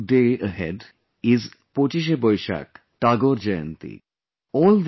A landmark day ahead is PochisheBoishak Tagore Jayanti